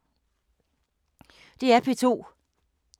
DR P2